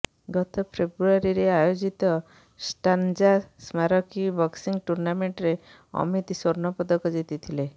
ଗତ ଫେବୃଆରୀରେ ଆୟୋଜିତ ଷ୍ଟାନ୍ଜା ସ୍ମାରକୀ ବକ୍ସିଂ ଟୁର୍ଣ୍ଣାମେଣ୍ଟରେ ଅମିତ ସ୍ବର୍ଣ୍ଣ ପଦକ ଜିତିଥିଲେ